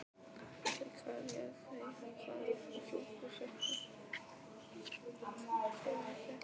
Andri: Hvað réð því hvaða flokkur fékk atkvæði þitt?